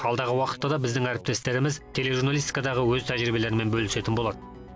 алдағы уақытта да біздің әріптестеріміз тележурналистикадағы өз тәжірибелерімен бөлісетін болады